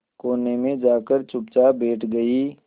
कोने में जाकर चुपचाप बैठ गई